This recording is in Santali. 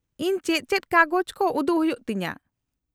-ᱤᱧ ᱪᱮᱫ ᱪᱮᱫ ᱠᱟᱜᱚᱡ ᱠᱚ ᱩᱫᱩᱜ ᱦᱩᱭᱩᱜ ᱛᱤᱧᱟᱹ ?